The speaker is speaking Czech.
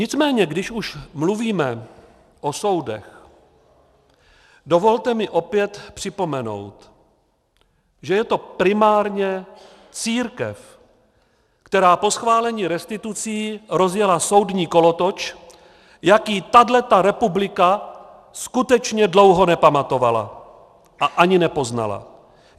Nicméně když už mluvíme o soudech, dovolte mi opět připomenout, že je to primárně církev, která po schválení restitucí rozjela soudní kolotoč, jaký tahle republika skutečně dlouho nepamatovala a ani nepoznala.